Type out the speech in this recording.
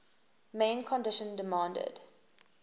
main condition demanded